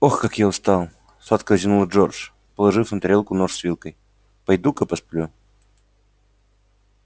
ох как я устал сладко зевнул джордж положив на тарелку нож с вилкой пойду-ка посплю